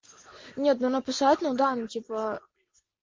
нет ну написать ну да ну типа